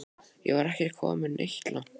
Ég var ekki kominn neitt langt.